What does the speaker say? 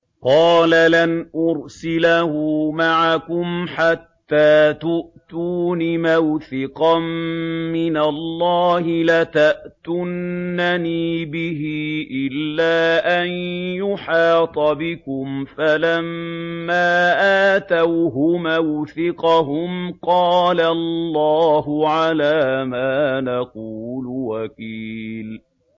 قَالَ لَنْ أُرْسِلَهُ مَعَكُمْ حَتَّىٰ تُؤْتُونِ مَوْثِقًا مِّنَ اللَّهِ لَتَأْتُنَّنِي بِهِ إِلَّا أَن يُحَاطَ بِكُمْ ۖ فَلَمَّا آتَوْهُ مَوْثِقَهُمْ قَالَ اللَّهُ عَلَىٰ مَا نَقُولُ وَكِيلٌ